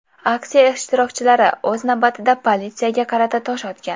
Aksiya ishtirokchilari, o‘z navbatida, politsiyaga qarata tosh otgan.